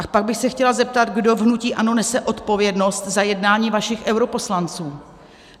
A pak bych se chtěla zeptat, kdo v hnutí ANO nese odpovědnost za jednání vašich europoslanců.